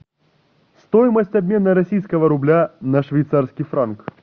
стоимость обмена российского рубля на швейцарский франк